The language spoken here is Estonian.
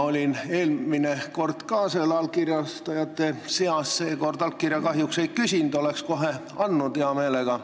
Olin eelmine kord selle allkirjastajate seas, seekord allkirja kahjuks ei küsitud, oleks andnud hea meelega.